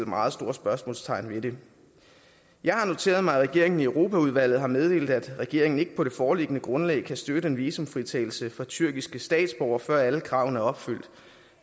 meget store spørgsmålstegn ved det jeg har noteret mig at regeringen i europaudvalget har meddelt at regeringen ikke på det foreliggende grundlag kan støtte en visumfritagelse for tyrkiske statsborgere før alle kravene er opfyldt